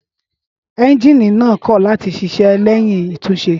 Énjìnì náà kò láti ṣiṣẹ́ léyìn àtúnṣe